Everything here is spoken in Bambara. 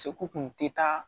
Seko kun te taa